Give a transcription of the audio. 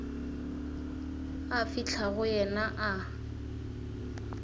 a fihla go yena a